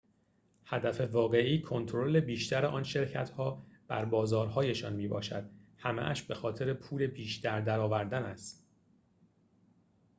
هدف واقعی کنترل بیشتر آن شرکت‌ها بر بازارهایشان می‌باشد همه‌اش بخاطر پول بیشتر درآوردن است